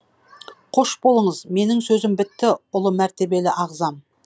қош болыңыз менің сөзім бітті ұлы мәртебелі ағзам